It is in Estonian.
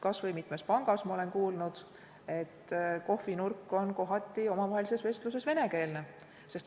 Kas või mitmes pangas ma olen kuulnud, et kohvinurgas on kohati omavaheline vestlus venekeelne.